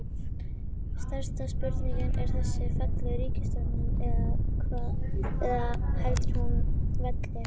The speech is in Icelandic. Stærsta spurningin er þessi, fellur ríkisstjórnin eða heldur hún velli?